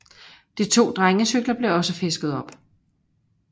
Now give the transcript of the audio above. De to drengecykler blev også fisket op